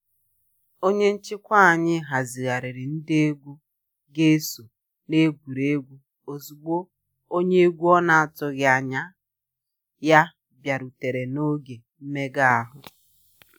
Onye nchịkwa anyị hazigharịrị ndị egwu ga eso na egwuregwu ozugbo onye egwu ọ na atụghị anya ya bịarutere na oge mmega ahụ